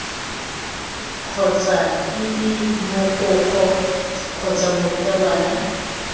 kgotsa ii mogokgo kgotsa morutabana